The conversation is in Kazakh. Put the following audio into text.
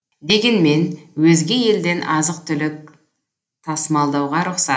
дегенмен өзге елден азық түлік тасымалдауға рұқсат